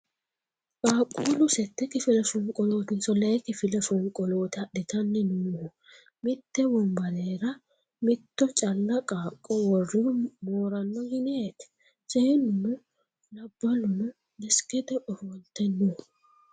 Qaaqquullu sette kifile fonqolootinso Lee kifile fonqolooti adhitanni noohu ? Mitte wonbarera mitto calla qaaqqo worrihu mooranno yineeti ? Seennuno labballuno deskete ofolte no.